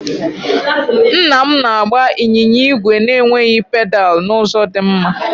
Nna m na-agba ịnyịnya ígwè na-enweghị pedal n'ụzọ dị mma.